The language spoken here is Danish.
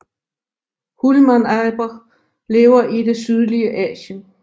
Hulmanaber lever i det sydlige Asien